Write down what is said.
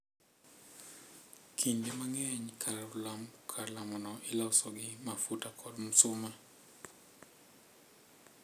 Kinde mang’eny, kar lamono iloso gi mafua kod msuma,